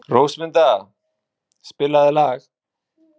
Rósmunda, spilaðu lag.